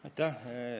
Aitäh!